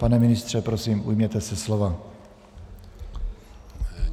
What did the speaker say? Pane ministře, prosím, ujměte se slova.